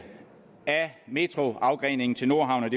af metroafgreningen til nordhavnen